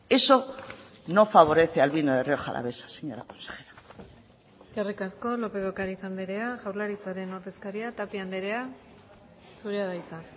eso no favorece al vino de rioja alavesa señora consejera eskerrik asko lópez de ocariz andrea jaurlaritzaren ordezkaria tapia andrea zurea da hitza